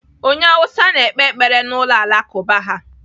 Onye Hausa na-ekpe ekpere n'ụlọ Alakụba ha.